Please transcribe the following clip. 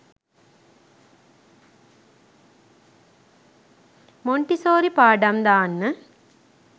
Montessori පාඩම් දාන්න